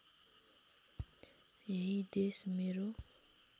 यही देश मेरो